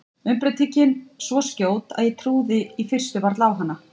Umbreytingin svo skjót að ég trúði í fyrstu varla á hana.